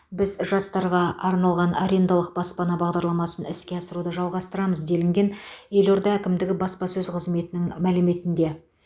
біз жастарға арналған арендалық баспана бағдарламасын іске асыруды жалғастырамыз делінген елорда әкімдігі баспасөз қызметінің мәліметінде